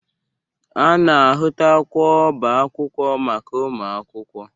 A na-ahụtakwa ọba akwụkwọ maka ụmụakwụkwọ.